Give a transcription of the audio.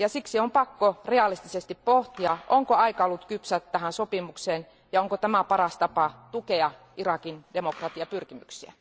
Siksi on pakko realistisesti pohtia, onko aika ollut kypsä tähän sopimukseen, ja onko tämä paras tapa tukea Irakin demokratiapyrkimyksiä?